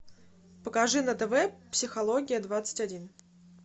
покажи на тв психология двадцать один